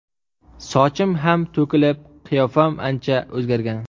Sochim ham to‘kilib, qiyofam ancha o‘zgargan.